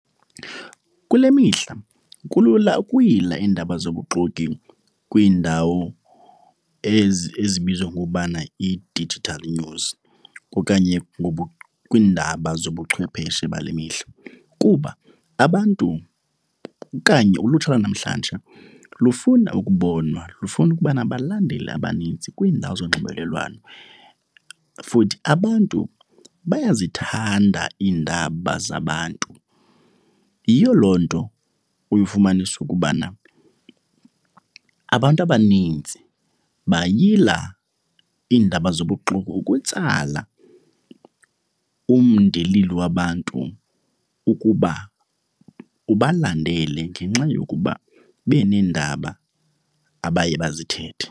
Kule mihla kulula ukuyila iindaba zobuxoki kwiindawo ezi ezibizwa ngokubana yi-digital news okanye kwiindaba zobuchwepheshe bale mihla kuba abantu okanye ulutsha lwanamhlanje lufuna ukubonwa. Lufuna ukuba nabalandeli abaninzi kwiindawo zonxibelelwano futhi abantu bayazithanda iindaba zabantu. Yiyo loo nto uye ufumanise ukubana abantu abanintsi bayila iindaba zobuxoki ukutsala umndilili wabantu ukuba ubalandele ngenxa yokuba beneendaba abaye bazithethe.